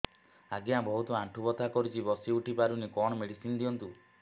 ଆଜ୍ଞା ବହୁତ ଆଣ୍ଠୁ ବଥା କରୁଛି ବସି ଉଠି ପାରୁନି କଣ ମେଡ଼ିସିନ ଦିଅନ୍ତୁ